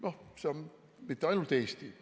See ei ole nii mitte ainult Eestis.